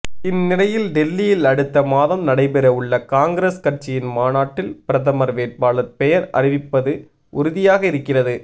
இந்நிலையில் டெல்லியில் அடுத்த மாதம் நடைபெற உள்ள காங்கிரஸ் கட்சியின் மாநாட்டில் பிரதமர் வேட்பாளர் பெயர் அறிவிப்பது உறுதியாகி இருக்கிறது